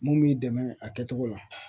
Mun b'i dɛmɛ a kɛcogo la